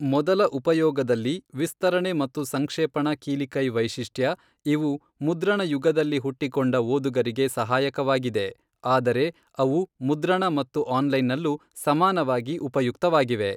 ಮೊದಲ ಉಪಯೋಗದಲ್ಲಿ ವಿಸ್ತರಣೆ ಮತ್ತು ಸಂಕ್ಷೇಪಣ ಕೀಲಿಕೈ ವೈಶಿಷ್ಟ್ಯಇವು ಮುದ್ರಣ ಯುಗದಲ್ಲಿ ಹುಟ್ಟಿಕೊಂಡ ಓದುಗರಿಗೆ ಸಹಾಯಕವಾಗಿದೆ, ಆದರೆ ಅವು ಮುದ್ರಣ ಮತ್ತು ಆನ್ಲೈನ್ನಲ್ಲೂ ಸಮಾನವಾಗಿ ಉಪಯುಕ್ತವಾಗಿವೆ.